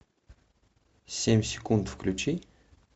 семь секунд включи